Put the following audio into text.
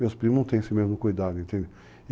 Meus primos não têm esse mesmo cuidado, entende?